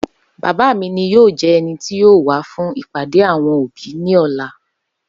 Baba mi ni yoo jẹ ẹni ti yoo wa fun ipade awọn obi ni ọla.